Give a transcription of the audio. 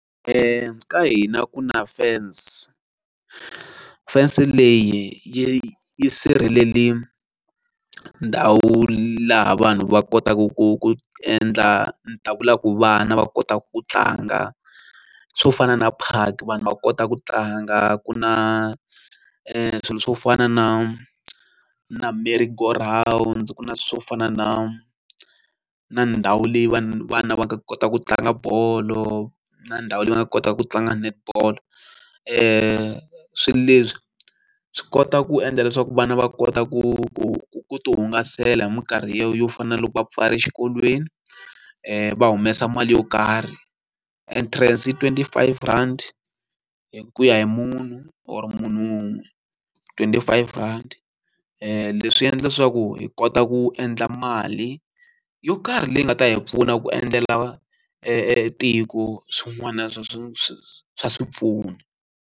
ka hina ku na fence fence leyi yi yi sirheleli ndhawu laha vanhu va kotaka ku endla ni ta ku lava ku vana va kotaka ku tlanga swo fana na park vanhu va kota ku tlanga ku na swilo swo fana na na Merry-go-round ku na swo fana na na ndhawu leyi vanhu vana va nga kota ku tlanga bolo na ndhawu leyi va nga kotaka ku tlanga net ball swilo leswi swi kota ku endla leswaku vana va kota ku ti hungasela hi minkarhi yo fana na loko va pfala exikolweni va humesa mali yo karhi entrance i twenty five rand hi ku ya hi munhu or munhu wun'we twenty five rand leswi endla leswaku hi kota ku endla mali yo karhi leyi nga ta hi pfuna ku endlela tiko swin'wana swa swa swa swa swipfuna.